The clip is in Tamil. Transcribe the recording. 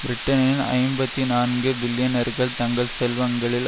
பிரிட்டனின் ஐம்பத்தி நான்கு பில்லியனர்கள் தங்கள் செல்வங்களில்